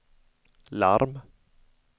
larm